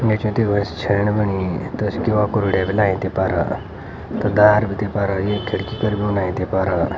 नेच तिबासी छैण बणी त्वेसे किवा कोरोडिया भी लायीं तेफर तदार बीती फर एक खिड़की कर भी बणाई तेफर।